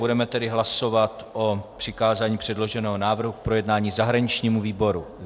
Budeme tedy hlasovat o přikázání předloženého návrhu k projednání zahraničnímu výboru.